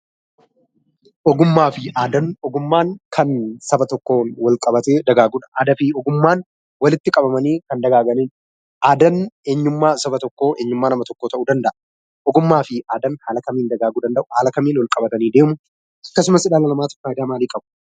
Ogummaa fi aadaan, ogummaan kan saba tokkoon wal qabatee dagaagudha. Aadaa fi ogummaan walitti qabamanii kan dagaaganiidha. Aadaan eenyummaa saba tokkoo, eenyummaa nama tokkoo ta'uu danda'a. Ogummaa fi aadaan haala kamiin dagaaguu danda'a? Haala kamiin wal qabatanii deemu? Akkasumas dhala namaatiif fayidaa maalii qabu?